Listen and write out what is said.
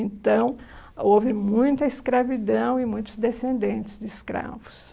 Então, houve muita escravidão e muitos descendentes de escravos.